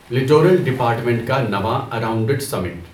littoral department کا نواں اراونڈڈسمنٹ